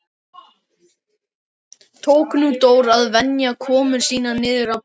Tók nú Dór að venja komur sínar niður á bryggju.